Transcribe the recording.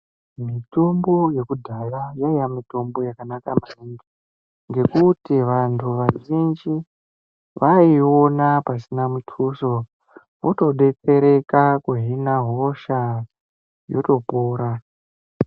Mitombo yekudhaya yaiya mitombo yakanaka maningi ngekuti vantu vazhini vaiiona pasina mutuso votodetsereka kuhina hosha yotopora.